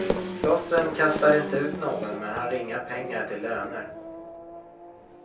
Klostren kastar inte ut någon men har inga pengar till löner.